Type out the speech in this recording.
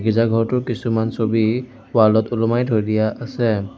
গীৰ্জা ঘৰটোৰ কিছুমান ছবি ৱাল ত ওলোমাই থৈ দিয়া আছে।